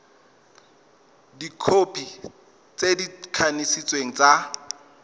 dikhopi tse di kanisitsweng tsa